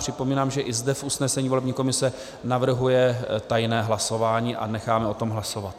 Připomínám, že i zde v usnesení volební komise navrhuje tajné hlasování, a necháme o tom hlasovat.